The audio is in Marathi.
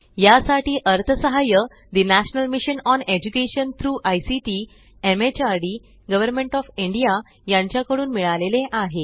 यासाठी अर्थसहाय्य ठे national mission on education through ICT MHRD government of India यांच्या कडून मिळालेले आहे